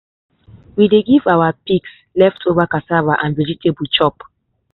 we dey give our pigs leftover cassava and vegetable chop.